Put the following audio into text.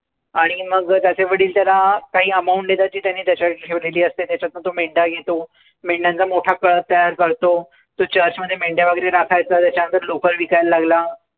आणि मग त्याचे वडील त्याला काही amount देतात. जी त्यांनी त्याच्याकरता ठेवलेली असते. मग त्याच्यातनं तो मेंढ्या घेतो, मेंढ्यांचा मोठा कळप तयार करतो. तो church मध्ये मेंढ्या वगैरे राखायचा, मग त्याच्यानंतर लोकर विकायला लागला.